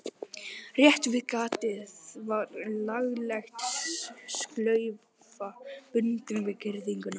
Rétt við gatið var lagleg slaufa bundin við girðinguna.